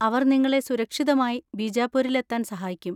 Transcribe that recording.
അവർ നിങ്ങളെ സുരക്ഷിതമായി ബീജാപുരിലെത്താൻ സഹായിക്കും.